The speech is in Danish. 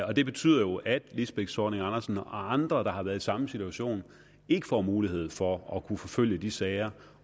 og det betyder jo at lisbeth zornig andersen og andre der har været i samme situation ikke får mulighed for at kunne forfølge de sager